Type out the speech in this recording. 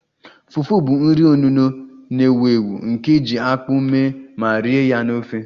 Fufu bụ nri onuno na-ewu ewu nke e ji akpu mee ma rie ya na ofe